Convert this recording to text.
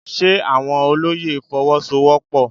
Ṣe àwọn olóyè Fọwọ́sowọ́pọ̀?